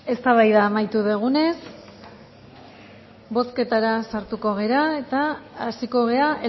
eztabaida amaitu dugunez bozketara sartuko gara eta hasiko gara